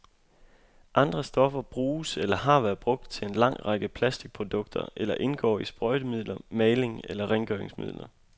Andre stoffer bruges eller har været brugt til en lang række plastikprodukter eller indgår i sprøjtemidler, maling og rengøringsmidler.